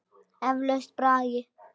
Eflaust braggi.